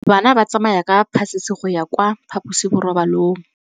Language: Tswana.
Bana ba tsamaya ka phašitshe go ya kwa phaposiborobalong.